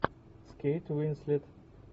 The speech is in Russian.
с кейт уинслет